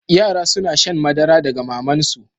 Yara suna shan madara daga maman su.